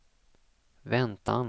väntan